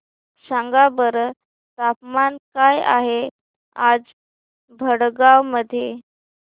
सांगा बरं तापमान काय आहे आज भडगांव मध्ये